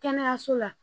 Kɛnɛyaso la